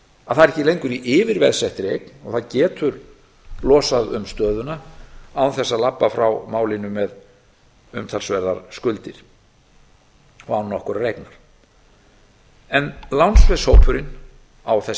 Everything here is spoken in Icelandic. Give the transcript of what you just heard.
að það er ekki lengur í yfirveðsettri eign og það getur losað um stöðuna án þess að labba frá málinu með umtalsverðar skuldir og án nokkurrar eignar lánsveðshópurinn á þess